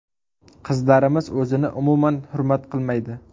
Qizlarimiz o‘zini umuman hurmat qilmaydi.